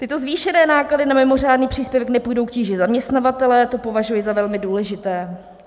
Tyto zvýšené náklady na mimořádný příspěvek nepůjdou k tíži zaměstnavatele, to považuji za velmi důležité.